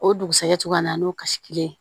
O dugusajɛ cogoya min na n'o kasi kelen ye